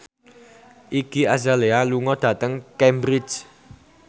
Iggy Azalea lunga dhateng Cambridge